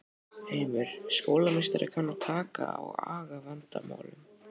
Heimir: Skólameistari kann að taka á agavandamálum?